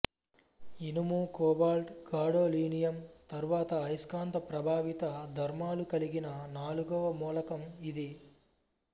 ఇనుము cobalt gadolinium తరువాత అయస్కాంత ప్రభావిత ధర్మాలుకలిగిన నాలుగవ మూలకం ఇది